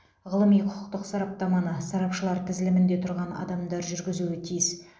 ғылыми құқықтық сараптаманы сарапшылар тізілімінде тұрған адамдар жүргізуі тиіс